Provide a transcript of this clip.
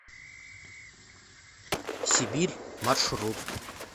сибирь маршрут